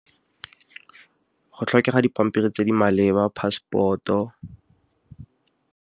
Go tlhokega dipampiri tse di maleba, passport-o.